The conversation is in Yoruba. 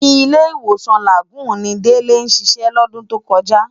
Ilé-Iwósán Lágùn ni Dele siṣè lòdùn tókòjá